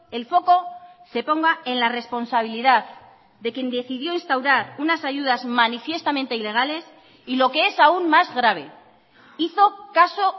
el foco se ponga en la responsabilidad de quien decidió instaurar unas ayudas manifiestamente ilegales y lo que es aún más grave hizo caso